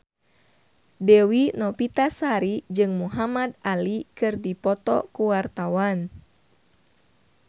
Dewi Novitasari jeung Muhamad Ali keur dipoto ku wartawan